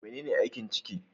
Menene aikin ciki?